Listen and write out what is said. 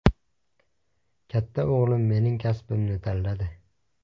Katta o‘g‘lim mening kasbimni tanladi.